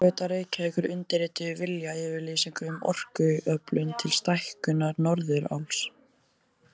Orkuveita Reykjavíkur undirrituðu viljayfirlýsingu um orkuöflun til stækkunar Norðuráls.